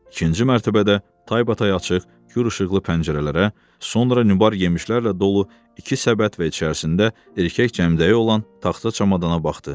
İkinci mərtəbədə taybatay açıq, kür işıqlı pəncərələrə, sonra Nübar yemişlərlə dolu iki səbət və içərisində erkək cəmdəyi olan taxta çamadana baxdı.